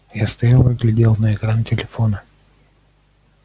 я стоял и глядел на экран телефона